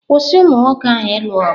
Kwụsị umụ nwoke ahụ ịlụ ọgụ!